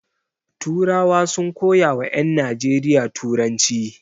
Turawa sun koya wa ƴan Najeriya turanci.